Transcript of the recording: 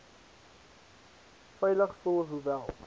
veilig voel hoewel